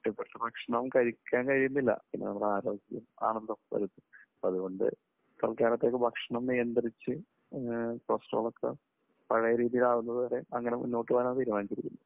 ഇഷ്ടപ്പെട്ട ഭക്ഷണം കഴിക്കാൻ കഴിയുന്നില്ല. പിന്നെ നമ്മുടെ ആരോഗ്യം ആണല്ലോ പ്രധാനം. അതുകൊണ്ട് കുറച്ചുനാളത്തേക്ക് ഭക്ഷണം നിയന്ത്രിച്ച് കൊളസ്ട്രോൾ ഒക്കെ പഴയ രീതിയിൽ ആകുന്നതുവരെ അങ്ങനെ മുന്നോട്ടുപോകാനാണ് തീരുമാനിച്ചിരിക്കുന്നത്.